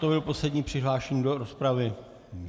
To byl poslední přihlášený do rozpravy.